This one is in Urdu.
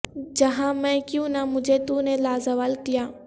جہاں میں کیوں نہ مجھے تو نے لازوال کیا